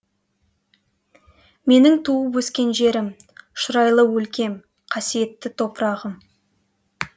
менің туып өскен жерім шұрайлы өлкем қасиетті топырағым